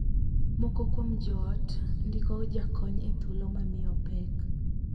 Moko kuom joot ndiko jakony e thuolo ma miyo pek.